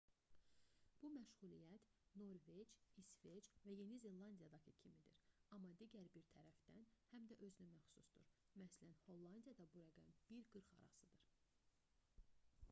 bu məşğuliyyət norveç i̇sveç və yeni zelandiyadakı kimidir amma digər bir tərəfdən həm də özünəməxsusdur məs. hollandiyada bu rəqəm 1-40 arasıdır